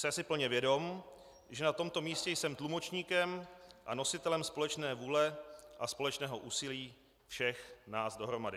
Jsem si plně vědom, že na tomto místě jsem tlumočníkem a nositelem společné vůle a společného úsilí všech nás dohromady."